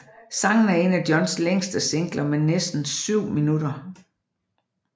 Sangen er en af Johns længste singler med næsten syv minutter